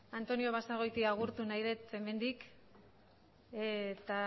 antonio basagoiti agurtu nahi dut hemendik eta